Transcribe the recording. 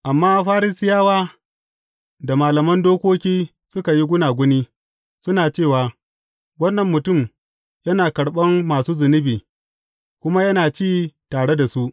Amma Farisiyawa da malaman dokoki suka yi gunaguni, suna cewa, Wannan mutum yana karɓan masu zunubi,’ kuma yana ci tare da su.